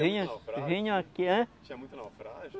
Vinha. Naufrágio. Que vinha, hã? Tinha muito naufrágio?